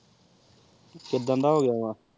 ਕੀੜਾ ਦਾ ਹੋ ਗਯਾ ਵ